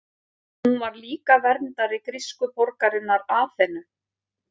hún var líka verndari grísku borgarinnar aþenu